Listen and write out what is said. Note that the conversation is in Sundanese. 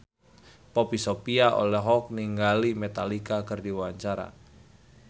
Poppy Sovia olohok ningali Metallica keur diwawancara